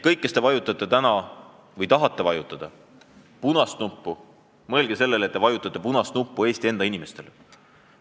Kõik, kes te vajutate täna – või tahate vajutada – punast nuppu, mõelge sellele, et te vajutate punast nuppu Eesti enda inimestele.